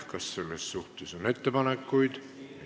Kas selle kohta on arvamusi?